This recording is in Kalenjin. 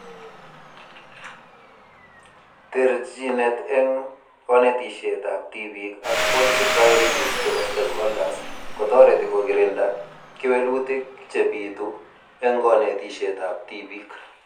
Terjinet eng konetishetab tibiik ak policy priorities chebo stakeholders kotoreti kokirinda kewelutik chebitu eng konetishetab tibiik